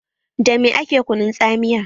Da me ake kunun tsamiya?